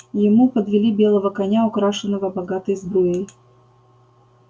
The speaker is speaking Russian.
ему подвели белого коня украшенного богатой сбруей